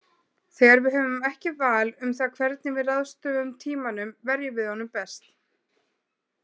Þegar við höfum ekki val um það hvernig við ráðstöfum tímanum verjum við honum best.